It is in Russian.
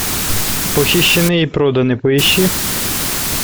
похищены и проданы поищи